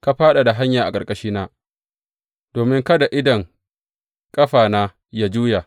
Ka fadada hanya a ƙarƙashina domin kada idon ƙafana yă juya.